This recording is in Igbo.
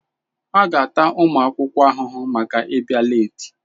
A ga-ata ụmụ akwụkwọ ahụhụ maka ịbịa leeti.